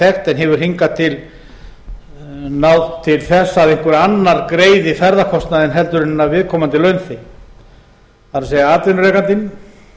þekkt en hefur hingað til náð til þess að einhver annar greiði ferðakostnaðinn heldur en viðkomandi launþegi það er atvinnurekandinn